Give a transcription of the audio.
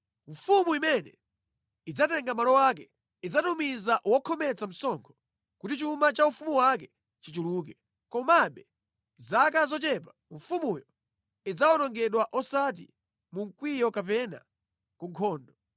“Mfumu imene idzatenga malo ake idzatumiza wokhometsa msonkho kuti chuma cha ufumu wake chichuluke. Komabe mʼzaka zochepa mfumuyo idzawonongedwa osati mu mkwiyo kapena ku nkhondo.